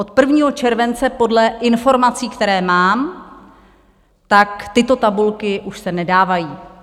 Od 1. července podle informací, které mám, tak tyto tabulky už se nedávají.